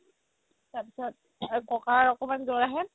তাৰ পিছত আৰু ককাৰ অকমাণ জ'ৰ আহে